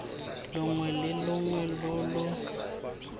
longwe le longwe lo lo